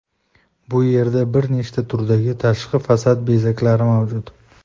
Bu yerda bir nechta turdagi tashqi fasad bezaklari mavjud.